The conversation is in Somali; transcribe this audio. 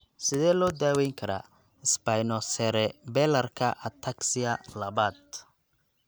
Sidee loo daweyn karaa spinocerebellarka ataxia labaad?